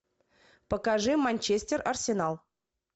покажи манчестер арсенал